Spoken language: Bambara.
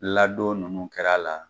Ladon nunnu kɛr'a la